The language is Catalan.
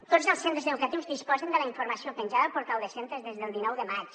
tots els centres educatius disposen de la informació penjada al portal de centres des del dinou de maig